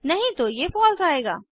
नहीं तो ये फलसे आएगा